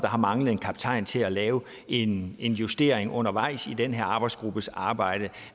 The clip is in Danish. har manglet en kaptajn til at lave en en justering undervejs i den her arbejdsgruppes arbejde